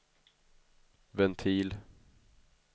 ventil